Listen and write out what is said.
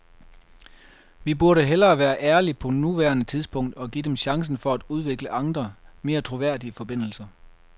Vi burde hellere være ærlige på nuværende tidspunkt og give dem chancen for at udvikle andre, mere troværdige forbindelser.